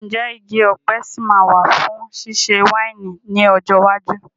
Ǹjẹ́ igi ọ̀pẹ sì máa wà fún ṣíṣe wáìnì ní ọjọ́ iwájú?